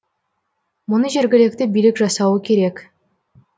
мұны жергілікті билік жасауы керек